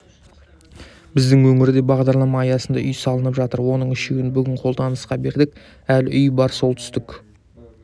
біздің өңірде бағдарлама аясында үй салынып жатыр оның үшеуін бүгін қолданысқа бердік әлі үй бар солтүстік